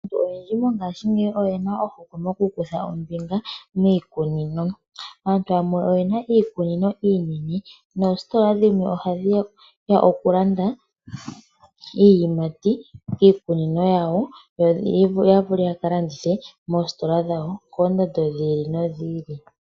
Aantu oyendji mongashingeyi oyena ohokwe mokukutha ombinga miikunino. Aantu yamwe oyena iikunino iinene noositola dhimwe oha dhiya okulanda iiyimati koositola dhawo yo ya vule oku kalanditha moosito dhawo koondando dhi ili nodhi ili.